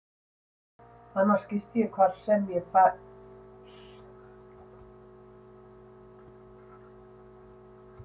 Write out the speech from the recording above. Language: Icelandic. Annars gisti ég hvar sem ég fékk tækifæri til að halla mér í partíum.